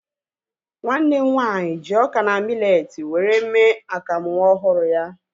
Nwanne m nwaanyị ji ọka na miletii were mee akamu nwa ọhụrụ ya